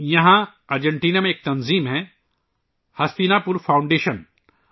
یہاں ارجنٹینا میں ایک تنظیم ہے ہستینا پور فاؤنڈیشن